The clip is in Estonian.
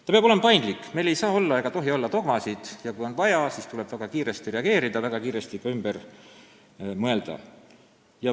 Ta peab olema paindlik, meil ei saa ega tohi olla dogmasid, ja kui on vaja, siis tuleb väga kiiresti reageerida, väga kiiresti ka ümber mõelda.